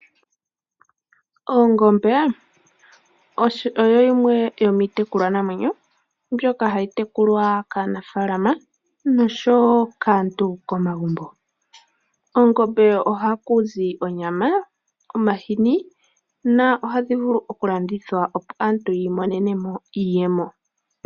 Oongombe odho dhimwe dhomiitekulwa namwenyo ,mbyoka hayi tekulwa kaanafaalama noshowo kaantu komagumbo, koongombe ohakuzi onyama ,omahini na ohadhi vulu okulandithwa opo aantu yii monenemo iiyemo.